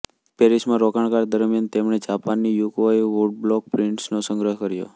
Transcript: પેરિસમાં રોકાણ દરમિયાન તેમણે જાપાનની યુકઓઇ વુડબ્લોક પ્રિન્ટ્સનો સંગ્રહ કર્યો